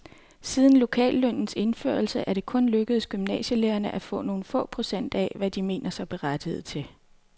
Siden lokallønnens indførelse er det kun lykkedes gymnasielærerne at få nogle få procent af, hvad de mener sig berettiget til.